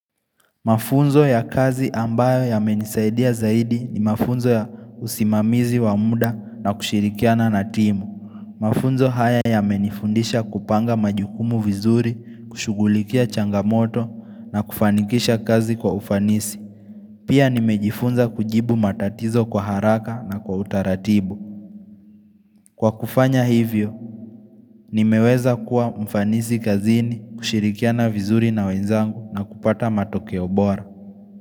Mafunzo ya kazi ambayo yamenisaidia zaidi ni mafunzo ya usimamizi wa muda na kushirikiana na timu. Mafunzo haya yamenifundisha kupanga majukumu vizuri, kushugulikia changamoto na kufanikisha kazi kwa ufanisi. Pia nimejifunza kujibu matatizo kwa haraka na kwa utaratibu. Kwa kufanya hivyo, nimeweza kuwa mfanisi kazini, kushirikiana vizuri na wenzangu na kupata matokeo bora.